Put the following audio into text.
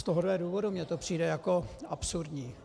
Z tohohle důvodu mi to přijde jako absurdní.